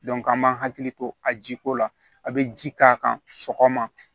an b'an hakili to a jiko la a be ji k'a kan sɔgɔma